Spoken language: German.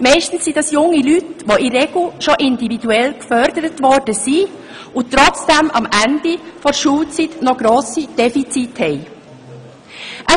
Meist sind dies junge Leute, die in der Regel schon individuell gefördert worden sind und trotzdem am Ende der Schulzeit noch grosse Defizite haben.